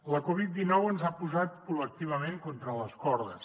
la covid dinou ens ha posat col·lectivament contra les cordes